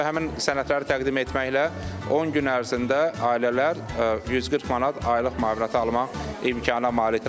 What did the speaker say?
Və həmin sənədləri təqdim etməklə 10 gün ərzində ailələr 140 manat aylıq müavinətə almaq imkanına malikdir.